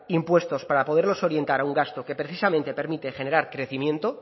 impuestos para poderlos orientar a un gasto que precisamente permite generar crecimiento